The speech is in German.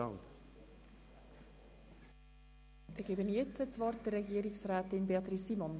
Danngebe ich jetzt das Wort Regierungsrätin Simon.